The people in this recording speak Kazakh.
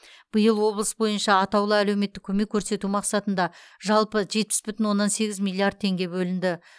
биыл облыс бойынша атаулы әлеуметтік көмек көрсету мақсатында жалпы жетпіс бүтін оннан сегіз миллиард теңге бөлінді